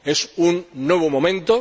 Es un nuevo momento.